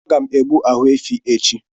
Aga m egbu ahụ efi echi